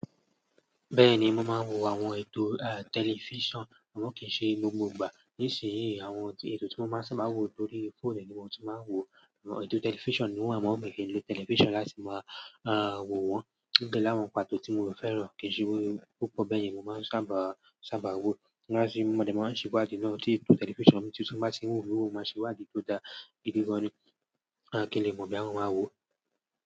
Bẹ́ẹ̀ni, mo máa ń wo àwọn ètò, à, tẹlifíṣàn àmọ́ kì í ṣe lọ́wọ́ gbogbo ìgbà. Nísìnyí, àwọn ètò tí mo máa ń sábà wo lórí fóònù ni mo ti máa ń wò. Àwọn ètò tẹlifíṣàn ni wọ́n, àmọ́ ò lè lo tẹlifíṣàn láti máa, à, wò wọ́n. Gẹ́gẹ́ bí àwọn pàtó tí mo fẹ́ràn kì í ṣe pupọ̀ bẹ́yẹ̀n ni mo máa ń sábà, sábà wò. Nígbà tí ọmọdé máa ń ṣìwàdí lọ́wọ́ ti tẹlifíṣàn mi ti tún máa sì ń wò lóòrùn máa sì wà dí tó dá ìdí gan-an ni. A kì í le mọ bí àwọn máa wò.